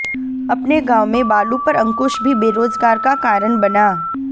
अपने गांव में बालू पर अंकुश भी बेरोजगार का कारण बना